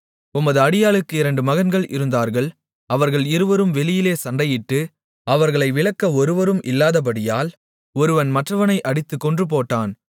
உமது அடியாளுக்கு இரண்டு மகன்கள் இருந்தார்கள் அவர்கள் இருவரும் வெளியிலே சண்டையிட்டு அவர்களை விலக்க ஒருவரும் இல்லாதபடியால் ஒருவன் மற்றவனை அடித்துக் கொன்றுபோட்டான்